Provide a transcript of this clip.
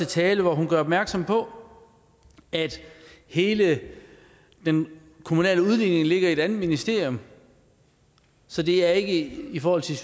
tale hvor hun gjorde opmærksom på at hele den kommunale udligning ligger i et andet ministerium så det er ikke i forhold til